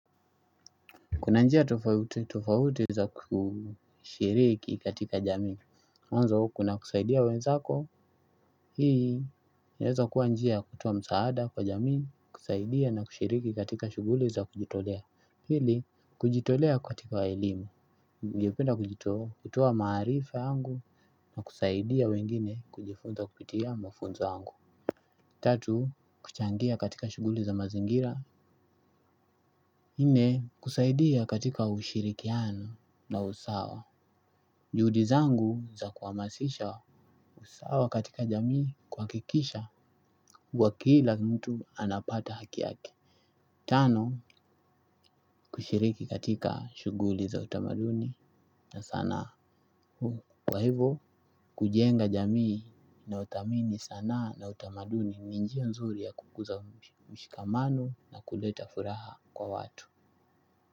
Kuna njia tofauti tofauti za kushiriki katika jamiimw anzo ku na kusaidia wenzako. Hii, inaweza kuwa njiaya kutoa msaada kwa jamii kusaidia na kushiriki katika shughuli za kujitolea. Pili, kujitolea katika elimu, ningependa kujitoo, kutoa maarifa yangu na kusaidia wengine kujifunza kupitia mafunzo yangu. Tatu, kuchangia katika shuguli za mazingira. Nne kusaidia katika ushirikiano na usawa juhudi zangu za kuhamasisha usawa katika jamii kuha kikisha kuwa kila mtu anapata hakiyake. Tano kushiriki katika shughuli za utamaduni na sanaa huu. Kwa hivyo kujenga jamii inayodhamini sanaa na utamaduni ninjia nzuri ya kukuza mshikamano na kuleta furaha kwa watu.